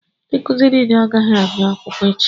Ndị nkụzi nile agaghị abịa akwụkwọ echi